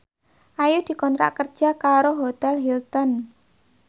Ayu dikontrak kerja karo Hotel Hilton